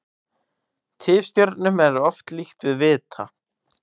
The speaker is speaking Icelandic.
Tifstjörnum er oft líkt við vita.